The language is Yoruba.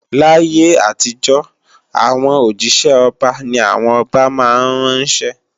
Láyé àtijọ́, àwọn òjísẹ́ ọba ni àwọn ọba máa ń ránṣẹ́